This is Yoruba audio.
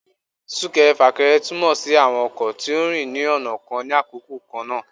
sunkẹrẹ-fakẹrẹ tumọ si awọn ọkọ to ń rín ní ọna kán ni àkókò kan na.